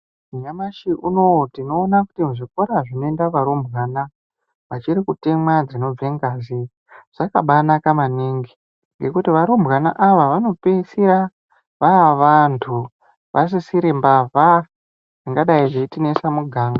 Nyamashi unowu tinoona kuti zvikora zvinoenda varumbwana achIrikutemwa dzinobve ngazi. Zvakabanaka maningi ngekuti varumbwana ava vanopeisira vavantu vasisiri mbavha dzingadai dzeitinesa muganga.